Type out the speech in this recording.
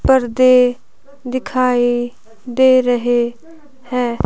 पर्दे दिखाई दे रहे हैं।